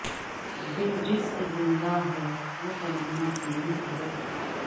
دل جس سے ز ندہ ہے وہ تمنا تمہی تو ہو